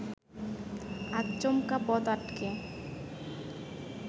আচমকা পথ আটকে